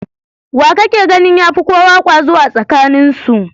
Wa kake ganin ya fi kowa kwazo a tsakaninsu?